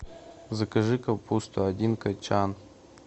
закажи капусту один качан